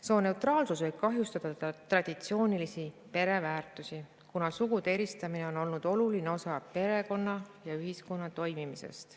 Sooneutraalsus võib kahjustada traditsioonilisi pereväärtusi, kuna sugude eristamine on olnud oluline osa perekonna ja ühiskonna toimimisest.